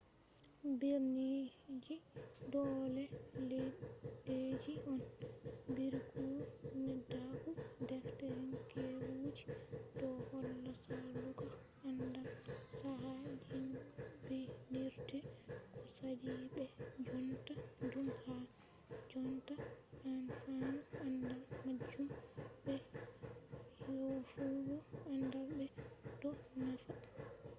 birniji do les leddeji on. biiruki neddaku-defterinkeewuji do holla salugo andal chaka jinbinirde ko sali be jonta dum ha jonta anfanu andal majum be yofugo andal mai do nafa